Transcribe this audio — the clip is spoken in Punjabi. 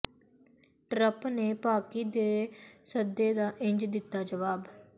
ਟਰੰਪ ਨੇ ਪਾਕਿ ਦੇ ਸੱਦੇ ਦਾ ਇੰਝ ਦਿੱਤਾ ਜਵਾਬ